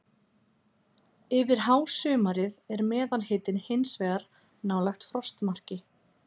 Yfir hásumarið er meðalhitinn hins vegar nálægt frostmarki.